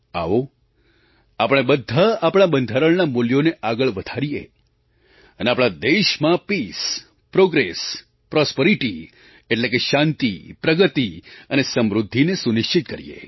આવો આપણે બધાં આપણાં બંધારણનાં મૂલ્યોને આગળ વધારીએ અને આપણા દેશમાં પીસ પ્રૉગ્રેસ પ્રૉસ્પરિટી એટલે કે શાંતિ પ્રગતિ અને સમૃદ્ધિને સુનિશ્ચિત કરીએ